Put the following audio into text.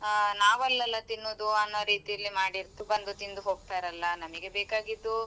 ನಾವಲ್ಲಲ್ಲಾ ತಿನ್ನೋದು ಅನ್ನೋದು ರೀತಿಯಲ್ಲಿ ಮಾಡಿರ್ತ್ ಬಂದು ತಿಂದು ಹೋಗ್ತಾರಲ್ಲಾ ನಮಿಗೆ ಬೇಕಾಗಿದ್ದು.